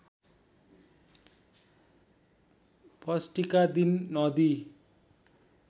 षष्ठीका दिन नदी